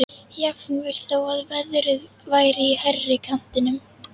Jafnvel þó að verðið væri í hærri kantinum.